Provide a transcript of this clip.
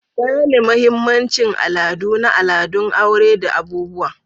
Gane mahimmancin al'adu na al'adun aure da abubuwa.